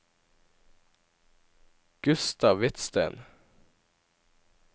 Gustav Hvidsten